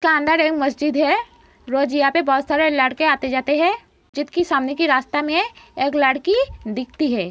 मस्जिद है। रोज यहाँ पे बहोत सारे लड़के आते जाते हैं। मस्जिद के सामने की रास्ता में एक लड़की दिखती है।